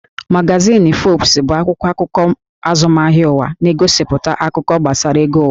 Magazin Forbes bụ akwụkwọ akụkọ azụmahịa ụwa, na-egosipụta akụkọ gbasara ego ụwa